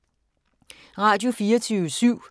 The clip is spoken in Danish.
Radio24syv